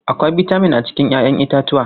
Akwai bitamin a cikin 'ya'yan itatuwa.